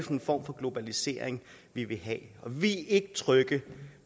en form for globalisering vi vil have og vi ikke trygge